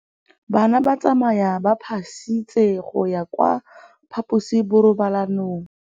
Bana ba tsamaya ka phašitshe go ya kwa phaposiborobalong.